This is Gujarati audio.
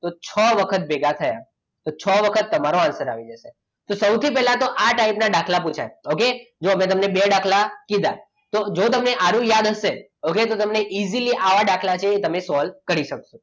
તો છ વખત ભેગા થયા તો છ વખત તમારો answer આવી જશે તો સૌથી પહેલા તો આ type ના દાખલા પુછાય okay તો જુઓ મેં તમને બે દાખલા કીધા તો જ જો તમને આ યાદ હશે okay તો તમને easily આવા દાખલા તમે solve કરી શકશો